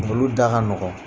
Olu da ka nɔgɔn;